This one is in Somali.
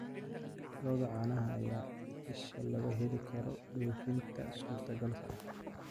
Lo'da caanaha ayaa ah isha laga heli karo dhoofinta suurtagalka ah.